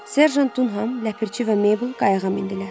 Serjant Dunhan, Ləpirçi və Meybl qayığa mindilər.